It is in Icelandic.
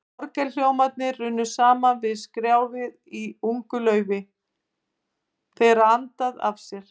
Orgelhljómarnir runnu saman við skrjáfið í ungu laufi, þegar andaði af hafi.